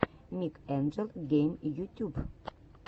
микс энджел гейм ютюб